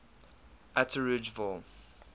atteridgeville